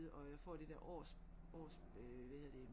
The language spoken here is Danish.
Og jeg får det der års års hvad hedder det